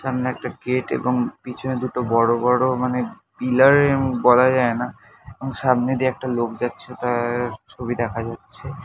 সামনে একটা গেট এবং পিছনে দুটো বড়ো বড়ো মানে পিলার এমন বলা যায় না এবং সামনে দিয়ে একটা লোক যাচ্ছে তার ছবি দেখা যাচ্ছে।